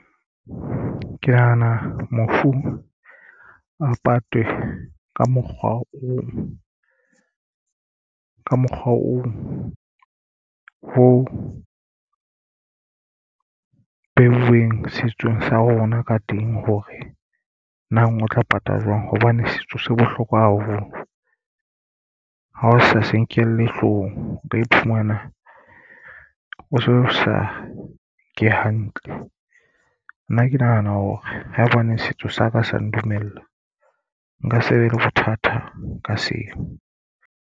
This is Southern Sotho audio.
Ke nahana mofu a patwe ka mokgwa oo ho beuweng setsong sa rona ka teng, hore nang o tla patala jwang, hobane setso se bohlokwa haholobl ha o sa se nkelle hloohong o ka iphumana o so sa nke hantle. Nna ke nahana hore haebaneng setso sa ka sa ndumella nka se be le bothata ka seo.